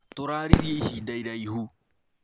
Tũrarĩrĩe ĩhĩnda ĩraĩhũ.